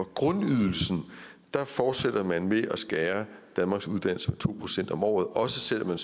grundydelsen fortsætter man med at skære danmarks uddannelser med to procent om året også selv om man